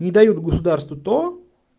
не дают государству то